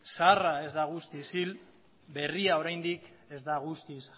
zaharra ez da guztiz hil eta berria oraindik ez da guztiz